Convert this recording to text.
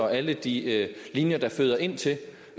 alle de linjer der føder ind til